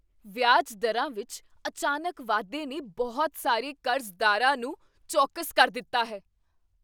ਵਿਆਜ ਦਰਾਂ ਵਿੱਚ ਅਚਾਨਕ ਵਾਧੇ ਨੇ ਬਹੁਤ ਸਾਰੇ ਕਰਜ਼ਦਾਰਾਂ ਨੂੰ ਚੌਕਸ ਕਰ ਦਿੱਤਾ ਹੈ।